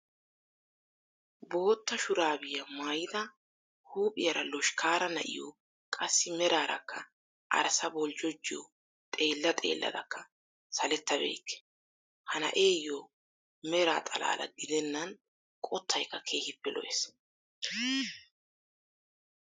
Boottaa shuraabiyaa maayida huuphiyaara loshkkaare na'iyo qassi meraarakka arssa boljjojiyo xeellaa xeelladakka saletta beyke. Ha na'eeyo meraa xalaala gidenna qottaykka keehiippe lo"ees.